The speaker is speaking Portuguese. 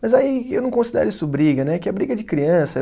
Mas aí eu não considero isso briga né, que é briga de criança.